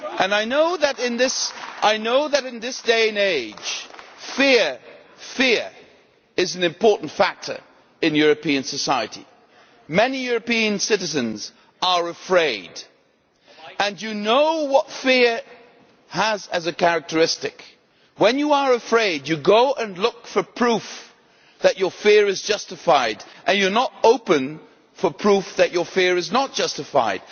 I know that, in this day and age, fear is an important factor in European society. Many European citizens are afraid, and you know what fear has as a characteristic when you are afraid you go and look for proof that your fear is justified and you are not open to proof that your fear is unjustified.